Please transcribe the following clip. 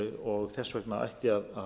og þess vegna ætti að